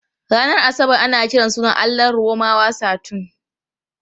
Ranar Asabar ana kiran sunan allahn Romawa Saturn.